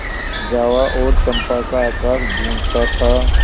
जावा और चंपा का आकाश गँूजता था